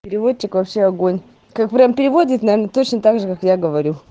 переводчик вообще огонь как прямо переводит наверное точно также как я говорю